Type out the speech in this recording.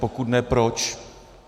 Pokud ne, proč?